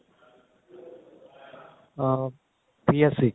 ਅਹ PSEB